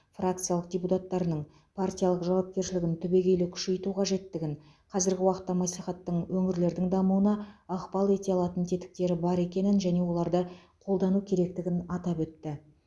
фракциялық депутаттарының партиялық жауапкершілігін түбегелі күшейту қажеттігін қазіргі уақытта мәслихаттың өңірлердің дамуына ықпал ете алатын тетіктері бар екенін және оларды қолдану керектігін атап өтті